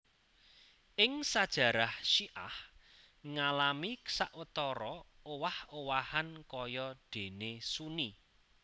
Ing sajarah syiah ngalami sawetara owah owahan kaya déné Sunni